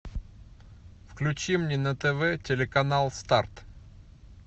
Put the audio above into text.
включи мне на тв телеканал старт